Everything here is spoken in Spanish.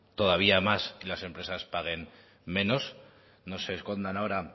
todavía más y las empresas paguen menos no se escondan ahora